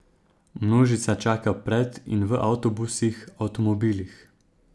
Množica čaka pred in v avtobusih, avtomobilih ...